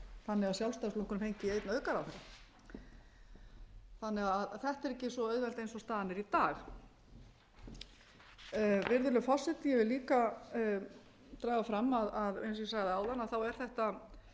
þannig að sjálfstæðisflokkurinn fengi einn aukaráðherra þannig að þetta er ekki svo auðvelt eins og staðan er í dag virðulegur forseti ég vil líka draga fram að eins og ég sagði áðan er þetta